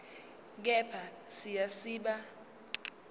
kepha siya siba